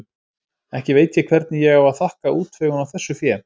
Ekki veit ég hvernig ég á að þakka útvegun á þessu fé.